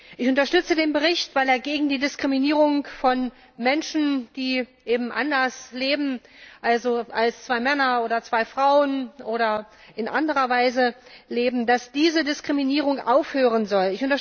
Ich unterstütze den Bericht, weil er gegen die Diskriminierung von Menschen ist, die eben anders leben, also zwei Männer oder zwei Frauen, oder in anderer Weise leben, und dafür eintritt, dass diese Diskriminierung aufhören soll.